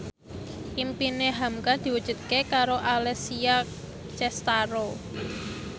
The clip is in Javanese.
impine hamka diwujudke karo Alessia Cestaro